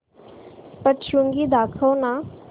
सप्तशृंगी दाखव ना